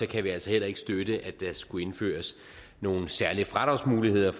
kan vi altså heller ikke støtte at der skulle indføres nogle særlige fradragsmuligheder